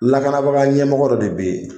Lakanabaga ɲɛmɔgɔ dɔ de bɛ yen